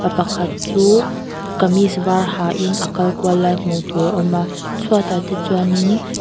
pa pakhat chu kamis var ha in a kal kual lai hmuh tur a awm a chhuatah te chuan in--